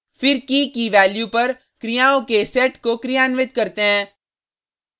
फिर कीkey की वैल्यू पर क्रियाओं के सेट को क्रियान्वित करते हैं